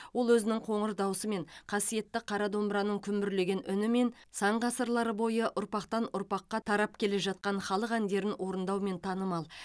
ол өзінің қоңыр даусымен қасиетті қара домбыраның күмбірлеген үнімен сан ғасырлар бойы ұрпақтан ұрпаққа тарап келе жатқан халық әндерін орындаумен танымал